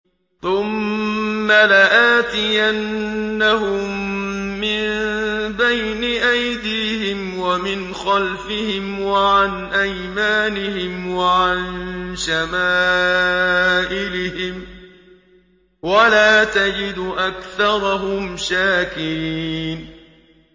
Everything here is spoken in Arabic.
ثُمَّ لَآتِيَنَّهُم مِّن بَيْنِ أَيْدِيهِمْ وَمِنْ خَلْفِهِمْ وَعَنْ أَيْمَانِهِمْ وَعَن شَمَائِلِهِمْ ۖ وَلَا تَجِدُ أَكْثَرَهُمْ شَاكِرِينَ